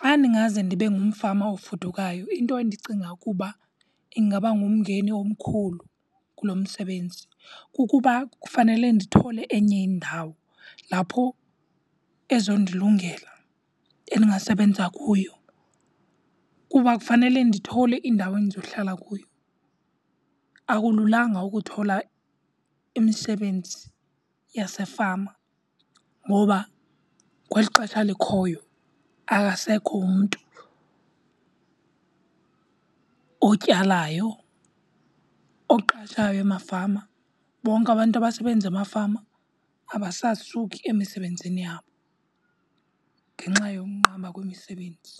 Xa ndingaze ndibe ngumfama ofudukayo, into endicinga ukuba ingaba ngumngeni omkhulu kulo msebenzi kukuba kufanele ndithole enye indawo lapho ezondilungela endingasebenza kuyo. Kuba kufanele ndithole indawo endizohlala kuyo. Akulunganga ukuthola imisebenzi yasefama ngoba kweli xesha likhoyo akasekho umntu otyalayo, oqashayo emafama. Bonke abantu abasebenza emafama abasasuki emisebenzini yabo ngenxa yokunqaba kwemisebenzi.